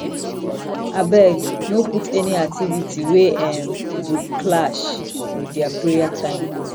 abeg no put any activity wey um go clash with their prayer time